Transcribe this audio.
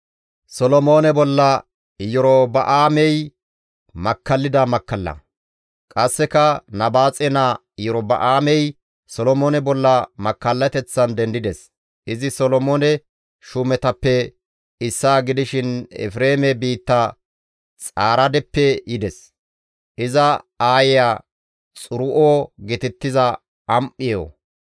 Qasseka Nabaaxe naa Iyorba7aamey Solomoone bolla makkallateththan dendides; izi Solomoone shuumetappe issaa gidishin Efreeme biitta Xaaredeppe yides; iza aayeya Xiru7o geetettiza am7eyo.